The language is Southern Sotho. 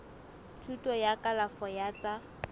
thuto ya kalafo ya tsa